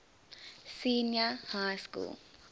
senior high school